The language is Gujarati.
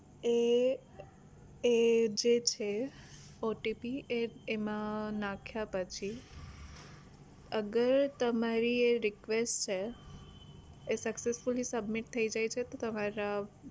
એ એ જે છે OTP એ એમાં નાખ્યા પછી અગર તમારી એ request છે એ successfully submit થઇ જાય છે તો તમારે